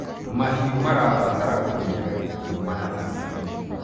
mahiũ marabatara kumenyererwo kumana na mĩrimũ